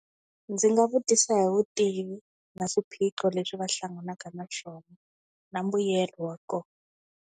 Ndzi nga vutisa hi vutivi na swiphiqo leswi va hlanganaka na swona na mbuyelo wa kona.